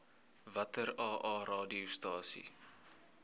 watter aa radiostasies